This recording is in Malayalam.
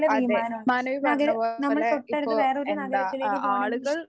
അതെ മാനവി പറഞ്ഞതുപോലെ ഇപ്പോ എന്താ ആഹ് ആളുകൾ